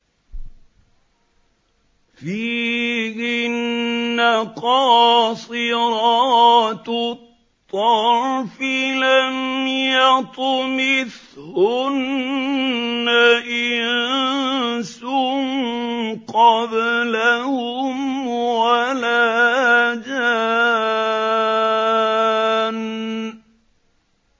فِيهِنَّ قَاصِرَاتُ الطَّرْفِ لَمْ يَطْمِثْهُنَّ إِنسٌ قَبْلَهُمْ وَلَا جَانٌّ